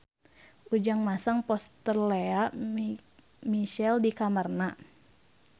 Ujang masang poster Lea Michele di kamarna